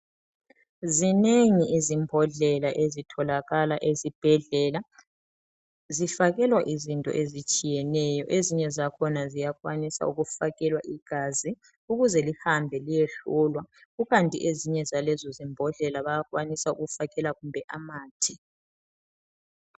Zinengi izimbodlela ezitholakala ezibhedlela. Zifakelwa izinto ezitshiyeneyo, ezinye zakhona ziyakwanisa ukufakelwa igazi ukuze lihambe liyehlolwa kukanti ezinye zalezo zimbodlela bayakwanisa ukufakela kumbe amathe.